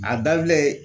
A da filɛ